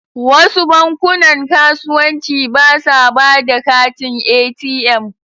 Wasu bankunan kasuwanci ba sa ba da katin ATM.